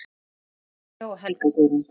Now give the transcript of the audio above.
Eva María og Helga Guðrún.